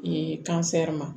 ma